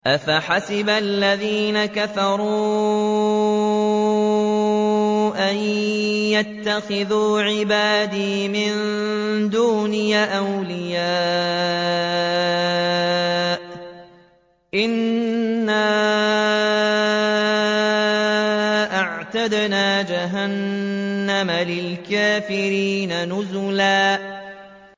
أَفَحَسِبَ الَّذِينَ كَفَرُوا أَن يَتَّخِذُوا عِبَادِي مِن دُونِي أَوْلِيَاءَ ۚ إِنَّا أَعْتَدْنَا جَهَنَّمَ لِلْكَافِرِينَ نُزُلًا